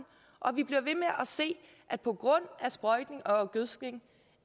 og vi bliver ved med at se at på grund af sprøjtning og gødskning